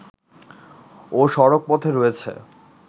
ও সড়কপথে রয়েছে